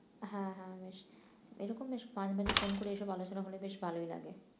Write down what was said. হ্যাঁ হ্যাঁ বেশ এরকম বেশ মাঝে মাঝে phone করে এসব আলোচনা হলে বেশ ভালোই লাগে